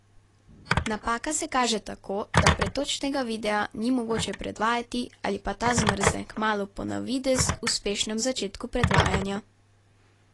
Napaka se kaže tako, da pretočnega videa ni mogoče predvajati ali pa ta zmrzne kmalu po na videz uspešnem začetku predvajanja.